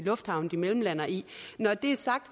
lufthavne de mellemlander i når det er sagt